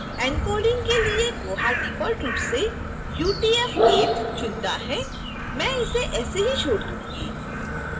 encoding के लिए koha default रूप से utf8 चुनता है मैं इसे ऐसे ही छोड़ दूंगी